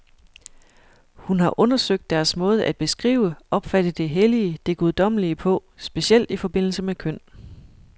Hun har undersøgt deres måde at beskrive, opfatte det hellige, det guddommelige på, specielt i forbindelse med køn.